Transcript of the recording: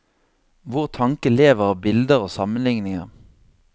Vår tanke lever av bilder og sammenligninger.